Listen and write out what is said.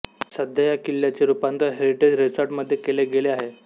सध्या या किल्ल्याचे रुपांतर हेरिटेज रिसॉर्टमध्ये केले गेले आहे